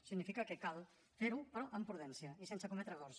significa que cal fer ho però amb prudència i sense cometre errors